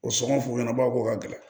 O sɔngɔn f'u ɲɛna baw ko ka gɛlɛn